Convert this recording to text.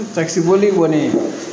boli kɔni